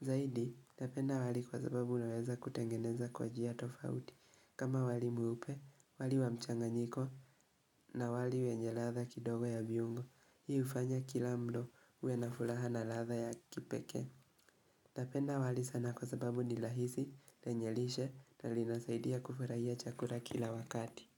Zahidi, napenda wali kwa sababu naweza kutengeneza kwa jia tofauti. Kama wali muupe, wali wa mchanganyiko na wali wenye latha kidogo ya viungo, hii ufanya kila mlo uwe nafulaha na latha ya kipeke. Tapenda wali sana kwa sababu ni lahizi lenyelishe na linasaidia kufurahia chakura kila wakati.